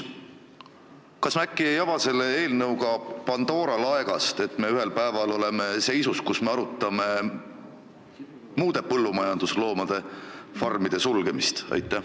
Kas me äkki ei ava selle eelnõuga Pandora laegast ja oleme ühel päeval seisus, kus me arutame muude põllumajandusloomade farmide sulgemist?